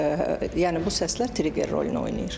Yəni bu səslər trigger rolunu oynayır.